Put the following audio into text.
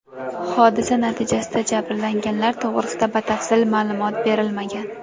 Hodisa natijasida jabrlanganlar to‘g‘risida batafsil ma’lumot berilmagan.